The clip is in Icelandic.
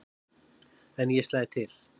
En ég slæ til.